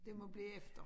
Det må blive efter